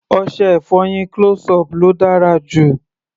Ọṣẹ-ìfọyín close-up ló dára jù.